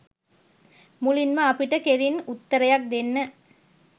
මුලින්ම අපිට කෙළින් උත්තරයක් දෙන්න